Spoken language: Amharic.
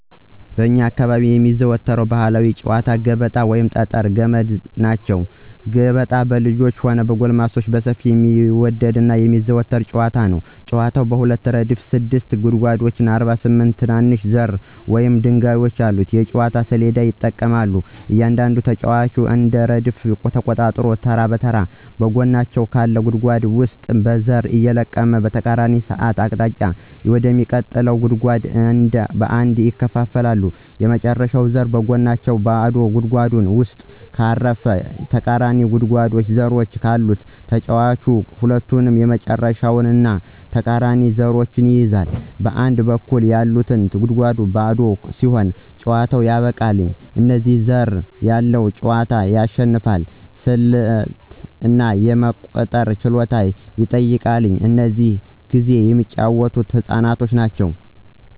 በእኛ አካባቢ የሚዘወተሩ ባህላዊ ጨዋታወች ገበጣ፣ ጠጠር እና ገመድ ናቸው። ገበጣ በልጆችም ሆነ በጎልማሶች በሰፊው የሚወደድ እና የሚዘወተር ጨዋታ ነው። ጨዋታው በሁለት ረድፍ ስድስት ጉድጓዶች እና 48 ትናንሽ ዘሮች ወይም ድንጋዮች ያሉት የእንጨት ሰሌዳ ይጠቀማል. እያንዳንዱ ተጫዋች አንድ ረድፍ ተቆጣጥሮ ተራ በተራ ከጎናቸው ካለ ጉድጓድ ውስጥ ዘርን እየለቀመ በተቃራኒ ሰዓት አቅጣጫ ወደሚቀጥሉት ጉድጓዶች አንድ በአንድ ያከፋፍላል። የመጨረሻው ዘር በጎናቸው ባዶ ጉድጓድ ውስጥ ካረፈ እና ተቃራኒው ጉድጓድ ዘሮች ካሉት ተጫዋቹ ሁለቱንም የመጨረሻውን እና ተቃራኒውን ዘሮች ይይዛል. በአንድ በኩል ያሉት ጉድጓዶች ባዶ ሲሆኑ ጨዋታው ያበቃል፣ እና ብዙ ዘር ያለው ተጫዋች ያሸንፋል። ስልት እና የመቁጠር ችሎታን ይጠይቃል፣ እና ብዙ ጊዜ የሚጫወተው ህፃናት ናቸው።